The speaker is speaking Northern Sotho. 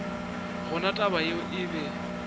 gona taba yeo e be